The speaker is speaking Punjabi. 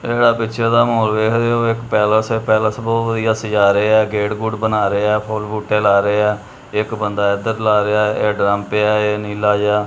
ਇਹ ਜਿਹੜਾ ਪਿਕਚਰ ਦਾ ਮਾਹੌਲ ਵੇਖ ਰਹੇ ਹੋ ਇੱਕ ਪੈਲਸ ਐ ਪੈਲਸ ਬਹੁਤ ਵਧੀਆ ਸਜਾ ਰਹੇ ਆ ਗੇਟ ਗੂਟ ਬਣਾ ਰਹੇ ਆ ਫੁੱਲ ਬੂਟਾ ਲਾ ਰਹੇ ਆ ਇੱਕ ਬੰਦਾ ਇਧਰ ਲਾ ਰਿਹਾ ਐ ਇਹ ਡਰਮ ਪਿਆ ਏ ਇਹ ਨੀਲਾ ਜਿਹਾ।